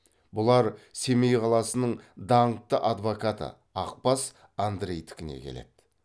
бұлар семей қаласының даңқты адвокаты ақбас андрейдікіне келеді